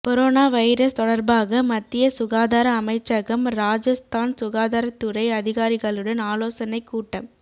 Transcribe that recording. corona virus தொடர்பாக மத்திய சுகாதார அமைச்சகம் ராஜஸ்தான் சுகாதாரத் துறை அதிகாரிகளுடன் ஆலோசனைக் கூட்டம்